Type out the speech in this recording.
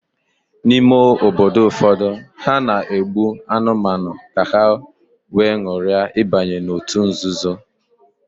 n'ime obodo ụfọdụ, ha na-egbu anụmanụ ka ha wee nwuria ibanye n'òtù nzuzo